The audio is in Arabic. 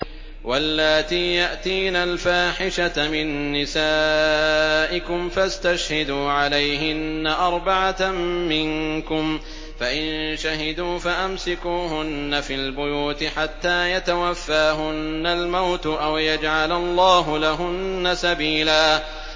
وَاللَّاتِي يَأْتِينَ الْفَاحِشَةَ مِن نِّسَائِكُمْ فَاسْتَشْهِدُوا عَلَيْهِنَّ أَرْبَعَةً مِّنكُمْ ۖ فَإِن شَهِدُوا فَأَمْسِكُوهُنَّ فِي الْبُيُوتِ حَتَّىٰ يَتَوَفَّاهُنَّ الْمَوْتُ أَوْ يَجْعَلَ اللَّهُ لَهُنَّ سَبِيلًا